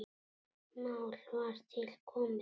Mál var til komið.